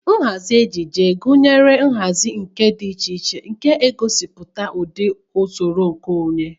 Nhazi ejiji gunyere ọtụtụ nhazi ucha na nka dị iche iche na-egosipụta ụdị na usoro nke onwe.